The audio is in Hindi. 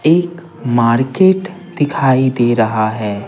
एक मार्केट दिखाई दे रहा है।